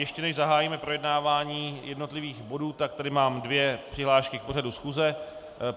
Ještě než zahájíme projednávání jednotlivých bodů, tak tady mám dvě přihlášky k pořadu schůze.